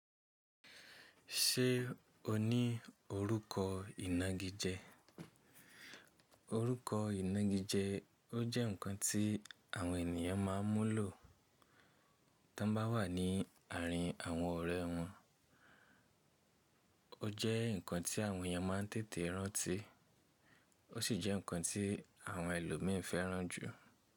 Ṣé o ní orúkọ ìnagijẹ? Orúkọ ìnagijẹ ọ jẹ́ nǹkan tí àwọn ènìyàn má a ń lò tán bá wà ní àárín àwọn ọ̀rẹ́ wọn. O jẹ́ nǹkan tí àwọn ènìyàn má ń tètè rántí, o sí jẹ́ nǹkan tí àwọn ẹlòmíì fẹ́ràn jù.